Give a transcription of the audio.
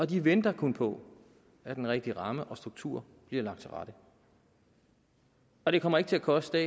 de venter kun på at den rigtige ramme og struktur bliver lagt til rette og det kommer ikke til at koste